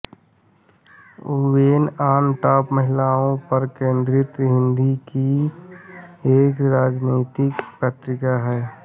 women on top महिलाओं पर केन्द्रित हिन्दी की एक सामाजिक पत्रिका है